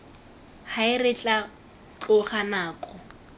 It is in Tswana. hae re tla tloga nako